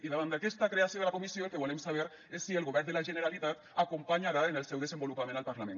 i davant d’aquesta creació de la comissió el que volem saber és si el govern de la generalitat acompanyarà en el seu desenvolupament el parlament